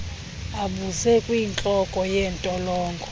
abuze kwintloko yentolongo